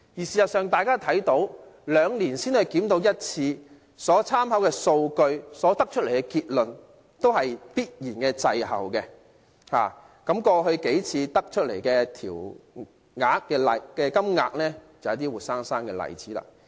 事實上大家看到，兩年才檢討一次所參考的數據、所得出的結論，必然會滯後，過去幾次調整的金額就是活生生的例子。